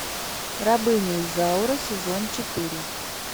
рабыня изаура сезон четыре